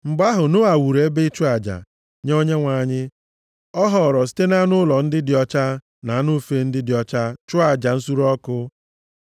Mgbe ahụ, Noa wuru ebe ịchụ aja + 8:20 Aja mbụ a chụrụ nʼAkwụkwọ Nsọ nye Onyenwe anyị bụ aja nsure ọkụ Noa chụrụ, mgbe o ji anụmanụ a na-ewepụghị ihe ọbụla nʼahụ ya chụọ aja. nye Onyenwe anyị. Ọ họọrọ site nʼanụ ụlọ ndị dị ọcha na anụ ufe ndị dị ọcha chụọ aja nsure ọkụ.